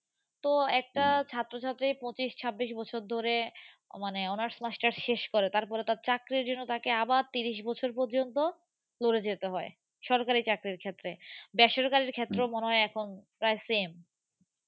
তো একটা ছাত্র ছাত্রী পঁচিশ ছাব্বিশ বছর ধরে মানে honors masters শেষ করে তারপরে তার চাকরির জন্য তাকে আবার তিরিশ বৎসর পর্য্যন্ত লড়ে যেতে হয়। সরকারি চাকরির ক্ষেত্রে। দেশের কাজের ক্ষেত্রেও মনে হয় এখন প্রায় same